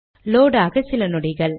load ஆக சில நொடிகள்